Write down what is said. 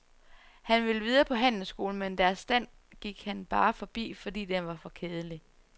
Han vil videre på handelsskolen, men deres stand gik han bare forbi, fordi den var for kedelig.